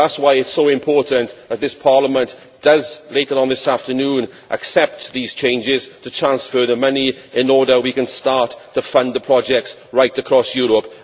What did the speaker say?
That is why it is so important that this Parliament, later on this afternoon, accepts these changes to transfer the money in order that we can start to fund the projects right across Europe.